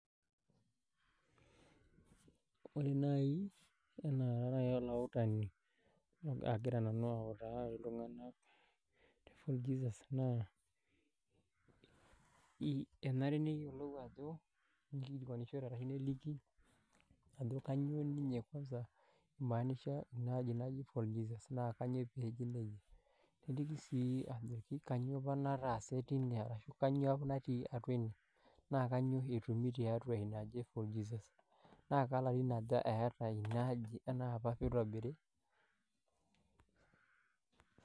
Wore naai, tenaa kara olautani akira nanu autaa iltunganak te Fort Jesus naa, enare neyiolou ajo, nikilikuanishore arashu neliki, ajo kainyoo ninye kwansa, imaanisha inaaji naji fort Jesus naa kainyoo peeji nejia. Neliki sii ajoki kainyoo apa nataase teine arashu kainyoo apa natii atua inie. Naa kainyoo oshi etumi tiatua iniaji e fort Jesus. Naa kelarin aja eata inaaji enaapa pee itobiri.